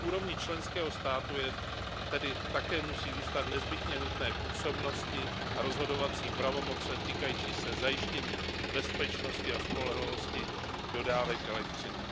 Na úrovni členského státu tedy také musí zůstat nezbytně nutné působnosti a rozhodovací pravomoci týkající se zajištění bezpečnosti a spolehlivosti dodávek elektřiny.